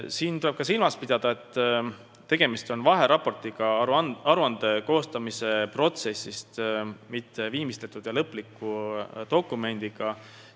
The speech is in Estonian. Veel tuleb silmas pidada, et tegemist on vaheraportiga aruande koostamise protsessist, mitte viimistletud ja lõpliku dokumendiga.